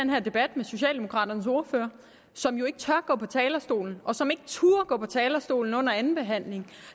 den her debat med socialdemokraternes ordfører som jo ikke tør gå på talerstolen og som ikke turde gå på talerstolen under andenbehandlingen